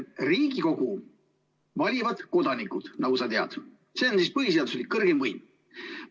Riigikogu valivad kodanikud, nagu sa tead, see on põhiseaduslik kõrgeim võim.